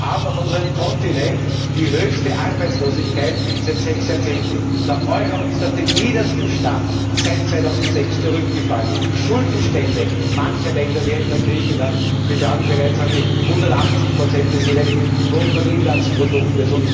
Wir haben auf unserem Kontinent die höchste Arbeitslosigkeit seit sechs Jahrzehnten. Der Euro ist auf den niedersten Stand seit 2006 zurückgefallen, und die Schuldenstände mancher Länder wie etwa Griechenlands betragen bereits an die 180 des jeweiligen Bruttoinlandsprodukts.